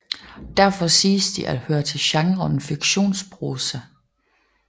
Derfor siges de at høre til genren fiktionsprosa